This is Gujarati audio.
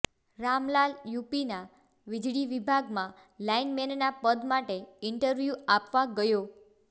રામલાલ યુપીના વીજળી વિભાગમાં લાઈનમેનના પદ માટે ઈન્ટરવ્યુ આપવા ગયો